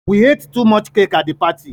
We ate so much cake at the party